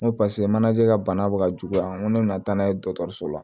N ko paseke manje ka bana be ka juguya n ko ne nana taa n'a ye dɔgɔtɔrɔso la